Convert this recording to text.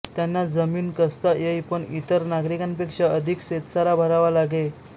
त्यांना जमीन कसता येई पण इतर नागरिकांपेक्षा अधिक शेतसारा भरावा लागे